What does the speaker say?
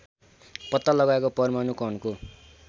पत्ता लगाएको परमाणु कणको